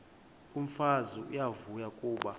umfazi uyavuya kuba